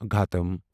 گھاٹم